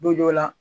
Donjɔ la